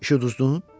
İşi uduzdun?